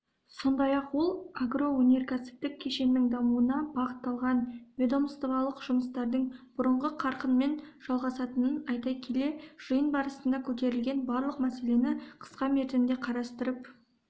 сондай-ақ ол агроөнеркәсіптік кешеннің дамуына бағытталған ведомстволық жұмыстардың бұрынғы қарқынмен жалғасатынын айта келе жиын барысында көтерілген барлық мәселені қысқа мерзімде қарастырып